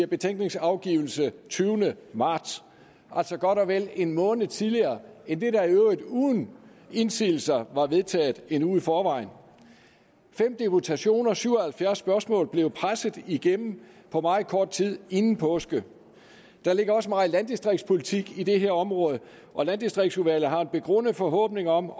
betænkningsafgivelse den tyvende marts altså godt og vel en måned tidligere end det der i øvrigt uden indsigelser var vedtaget en uge i forvejen fem deputationer og syv og halvfjerds spørgsmål blev presset igennem på meget kort tid inden påske der ligger også meget landdistriktspolitik på det her område og landdistriktsudvalget har haft en begrundet forhåbning om